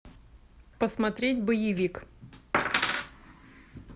посмотреть боевик